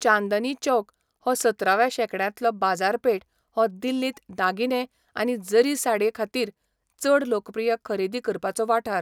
चांदनी चौक हो सतराव्या शेंकड्यांतलो बाजारपेठ हो दिल्लींत दागिने आनी जारी साडीं खातीर चड लोकप्रिय खरेदी करपाचो वाठार.